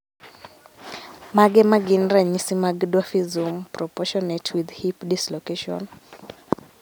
Mage magin ranyisi mag Dwarfism, proportionate with hip dislocation?